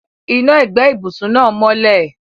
Iná ẹ̀gbẹ́ ibùsùn náà mọ́lẹ̀.